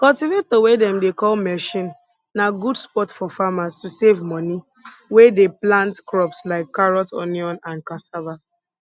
cultivator wey dem dey call machine na good spot for farmers to save money wey dey plant crops like carrot onion and cassava